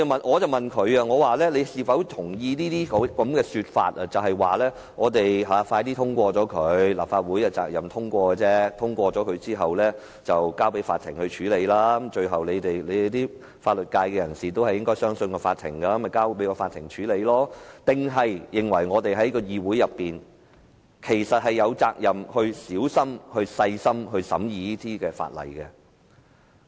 我問他是否認同這些說法，即立法會應盡快通過《條例草案》，立法會的責任只是通過《條例草案》，通過後便交由法庭處理，法律界人士會相信法庭，所以交給法庭處理便行；還是他認為我們在議會內有責任細心審議《條例草案》？